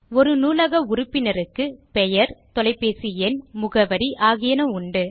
ஒரு நூலக உறுப்பினருக்கு பெயர் தொலைபேசி எண் முகவரி ஆகியன உண்டு